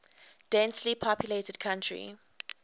densely populated country